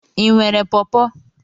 Ị nwere pọọpo?